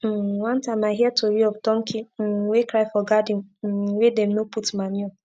um one time i hear tori of donkey um wey cry for garden um wey dem no put manure